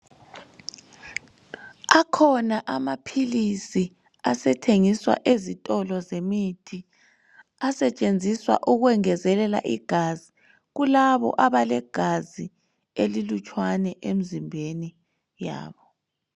Akhona amaphilisi asethengiswa ezitolo zemithi asetshenziswa ukwengezelela igazi kulabo abalegazi elilutshwane emzimbeni yabo.